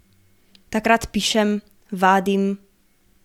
Takrat pišem, vadim ...